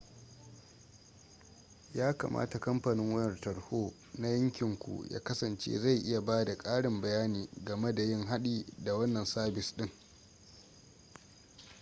yakamata kamfanin wayar tarho na yankin ku ya kasance zai iya bada ƙarin bayani game da yin haɗi da wannan sabis ɗin